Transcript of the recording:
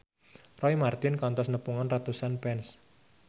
Roy Marten kantos nepungan ratusan fans